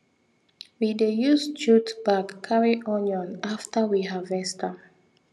we dey use jute bag carry onion after we harvest am